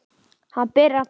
Hann byrjar að tala.